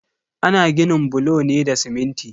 Ana ginin bulo ne da siminti.